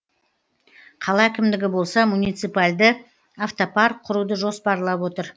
қала әкімдігі болса муниципальді автопарк құруды жоспарлап отыр